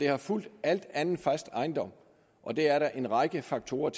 har fulgt al anden fast ejendom og det er der en række faktorer